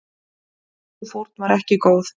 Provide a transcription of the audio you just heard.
Sú fórn var ekki góð.